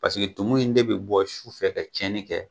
tumu in de bɛ bɔ sufɛ ka tiɲɛni kɛ